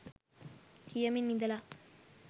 කියමින් ඉඳලා